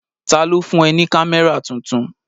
Ta ló fún ẹ ní kámẹ́rà tuntun?